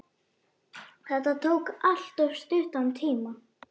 Þetta tók alltof stuttan tíma.